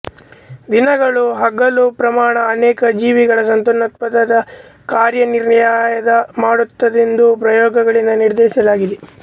ದಿನದಲ್ಲಿ ಹಗಲು ಪ್ರಮಾಣ ಅನೇಕ ಜೀವಿಗಳ ಸಂತಾನೋತ್ಪದನ ಕಾಲನಿರ್ಣಯ ಮಾಡುತ್ತದೆಂದು ಪ್ರಯೋಗಗಳಿಂದ ನಿರ್ಧರಿಸಲಾಗಿದೆ